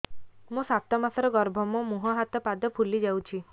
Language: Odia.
ମୋ ସାତ ମାସର ଗର୍ଭ ମୋ ମୁହଁ ହାତ ପାଦ ଫୁଲି ଯାଉଛି